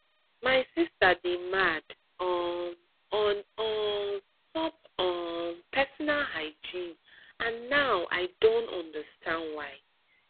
my sister dey mad um on um top um personal hygiene and now i don understand why